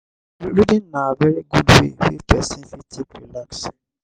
reading na very good way wey person fit take relax